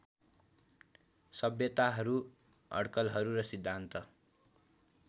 सभ्यताहरू अडकलहरू र सिद्धान्त